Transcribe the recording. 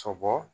Sɔbɔ